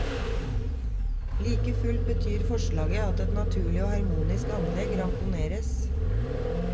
Like fullt betyr forslaget at et naturlig og harmonisk anlegg ramponeres.